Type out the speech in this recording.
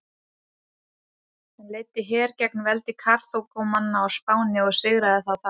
Hann leiddi her gegn veldi Karþagómanna á Spáni og sigraði þá þar.